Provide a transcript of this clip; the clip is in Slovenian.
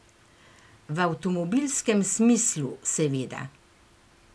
V avtomobilskem smislu seveda.